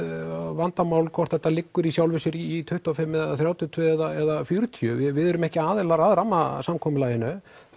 vandamál hvort þetta liggur í sjálfu sér í tuttugu og fimm eða þrjátíu og tvö eða fjörutíu við erum ekki aðilar að rammasamkomulaginu